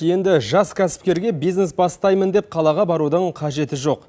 енді жас кәсіпкерге бизнес бастаймын деп қалаға барудың қажеті жоқ